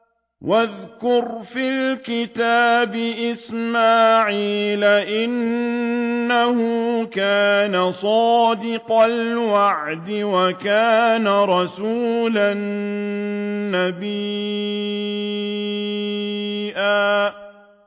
وَاذْكُرْ فِي الْكِتَابِ إِسْمَاعِيلَ ۚ إِنَّهُ كَانَ صَادِقَ الْوَعْدِ وَكَانَ رَسُولًا نَّبِيًّا